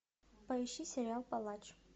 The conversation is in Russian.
поищи сериал палач